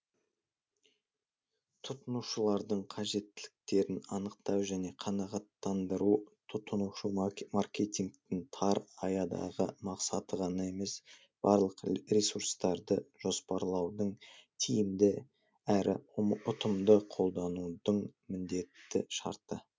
тұтынушылардың қажеттіліктерін анықтау және қанағаттандыру тұтынушы маркетингтің тар аядағы мақсаты ғана емес барлық ресурстарды жоспарлаудың тиімді әрі ұтымды қолданудың міндетті шарты